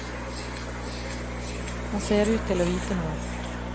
Han ser ut til å vite noe.